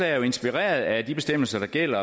er jo inspireret af de bestemmelser der gælder